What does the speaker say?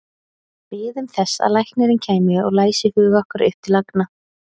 Biðum þess að læknirinn kæmi og læsi hug okkar upp til agna.